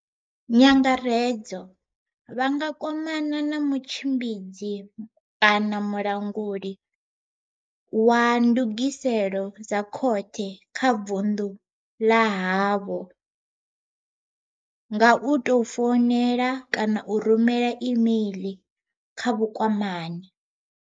NYANGAREDZO Vha nga kwamana na mutshimbidzi kana mulanguli wa Vha nga kwamana na mutshimbidzi kana mulanguli wa ndugiselo dza khothe kha vundu ḽa havho nga u ndugiselo dza khothe kha vundu ḽa havho nga u tou founela kana u rumela imeiḽi kha vhukwamani tou founela kana u rumela imeiḽi kha vhukwamani.